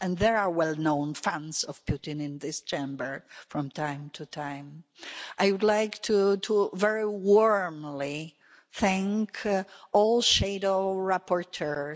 And there are well-known fans of Putin in this Chamber from time to time. I would like to very warmly thank all shadow rapporteurs.